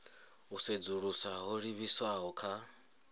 u sedzulusa ho livhiswaho kha